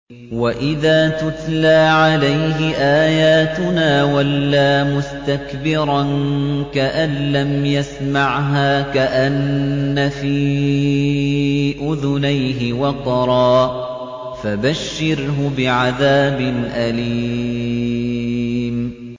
وَإِذَا تُتْلَىٰ عَلَيْهِ آيَاتُنَا وَلَّىٰ مُسْتَكْبِرًا كَأَن لَّمْ يَسْمَعْهَا كَأَنَّ فِي أُذُنَيْهِ وَقْرًا ۖ فَبَشِّرْهُ بِعَذَابٍ أَلِيمٍ